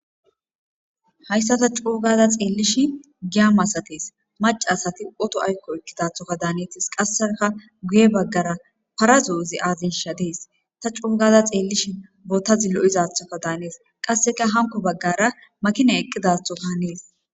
Hayisa ta co gada xelishe giya masates maca asati oto ayikkoka ekidato danetes qaseka guye bagara para zo'o ze azesha deas ta cogada xelishe botazi loizatoka danes qaseka hanikko bagara makinay eqizatoka hanes.